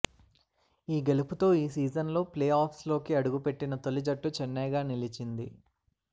ఈ గెలుపుతో ఈ సీజన్లో ప్లేఆఫ్స్లోకి అడుగుపెట్టిన తొలి జట్టు చెన్నైగా నిలిచింది